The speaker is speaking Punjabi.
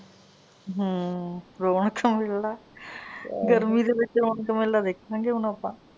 ਹਮ ਰੌਣਕ ਮੇਲਾ ਗਰਮੀ ਦੇ ਵਿਚ ਰੌਣਕ ਮੇਲਾ ਦੇਖਾਂਗੇ ਹੁਣ ਆਪਾਂ।